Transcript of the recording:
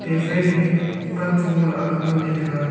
phai thei ke pan che go aak ga ngan ley taiga.